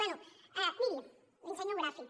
bé miri li ensenyo un gràfic